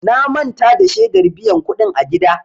Na manta da shedar biyan kuɗin a gida.